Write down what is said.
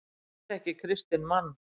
Ég þekki kristinn mann.